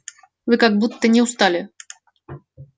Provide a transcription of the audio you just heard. вы как будто не устали